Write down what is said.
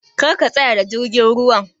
Kar ka tsayar da jirgin ruwan!